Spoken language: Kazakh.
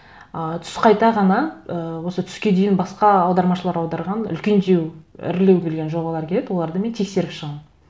ы түс қайта ғана ы осы түске дейін басқа аудармашылар аударған үлкендеу ірілеу келген жобалар келеді оларды мен тексеріп шығамын